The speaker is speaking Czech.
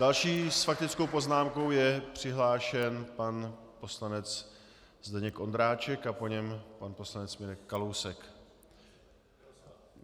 Další s faktickou poznámkou je přihlášen pan poslanec Zdeněk Ondráček a po něm pan poslanec Mirek Kalousek.